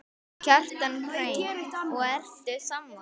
Kjartan Hreinn: Og ertu sammála?